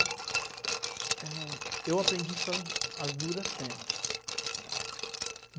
É eu aprendi as duras penas, né.